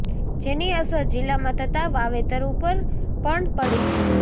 જેની અસર જીલ્લામાં થતા વાવેતર ઉપર પણ પડી છે